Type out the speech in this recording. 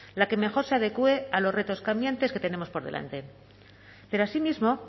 la que mejor se adecue a los retos cambiantes que tenemos por delante pero asimismo